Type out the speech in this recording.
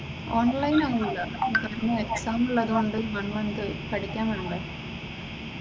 Online ആവുല് ഇവിടെ പിന്നെ എക്സാം ഉള്ളത് കൊണ്ട് ഒരുപാട് പഠിക്കാനുണ്ട്.